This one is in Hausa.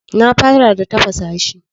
Na fara da tafasa shi.